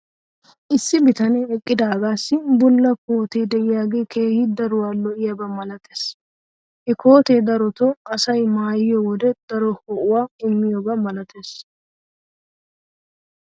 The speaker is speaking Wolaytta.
issi bitanee eqqidaagaassi bulla koottee diyaagee keehi daruwaa lo'iyaaba malatees. ha kootee darotoo asay maayiyo wode daro ho'uwaa immiyaaba malatees.